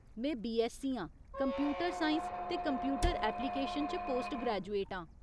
में बीऐस्ससी आं। Computer science ते कंप्यूटर ऐपलीकेशन च पोस्ट ग्रैजुएट आं।